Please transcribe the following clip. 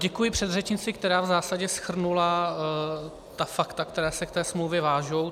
Děkuji předřečnici, která v zásadě shrnula ta fakta, která se k té smlouvě vážou.